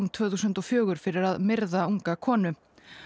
tvö þúsund og fjögur fyrir að myrða unga konu